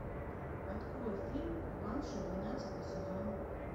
открой фильм банши двенадцатый сезон